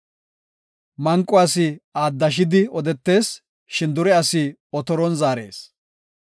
Manqo asi aaddashidi odetees; shin dure asi otoron zaarees.